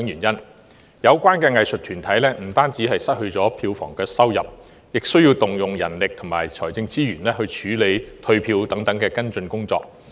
有關的藝術團體不單失去票房收入，亦需動用人力和財政資源處理退票等跟進工作。